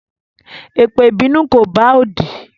Epe ìbínú ko bá odi